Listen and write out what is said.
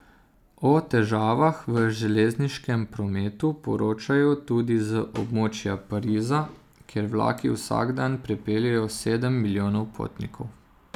O težavah v železniškem prometu poročajo tudi z območja Pariza, kjer vlaki vsak dan prepeljejo sedem milijonov potnikov.